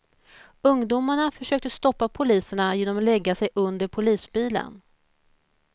Ungdomarna försökte stoppa poliserna genom att lägga sig under polisbilen.